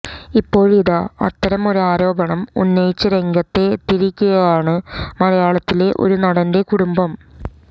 ഇപ്പോഴിതാ അത്തരം ഒരു ആരോപണം ഉന്നയിച്ചു രംഗത്തെത്തിയിരിക്കുകയാണ് മലയാളത്തിലെ ഒരു നടന്റെ കുടുംബം